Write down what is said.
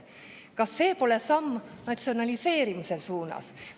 Kas see pole samm natsionaliseerimise suunas?